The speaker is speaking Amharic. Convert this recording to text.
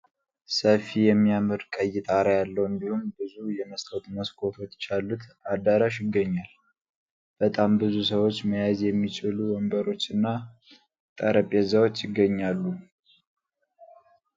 ሰፊ የሚያምር ቀይ ጣራ ያለው እንዲሁም ብዙ የመስታወት መስኮቶች ያሉት አዳራሽ ይገኛል ። በጣም ብዙ ሰዎች መያዝ የሚችሉ ወንበሮች እና ጠረጴዛዎች ይገኛሉ ።